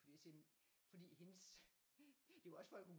Fordi jeg siger fordi hendes det er jo også for at hun